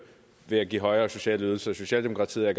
ved at give højere sociale ydelser socialdemokratiet er